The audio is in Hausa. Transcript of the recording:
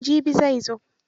Jibi zai zo.